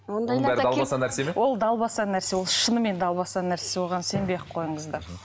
ол далбаса нәрсе ол шынымен далбаса нәрсе оған сенбей ақ қойыңыздар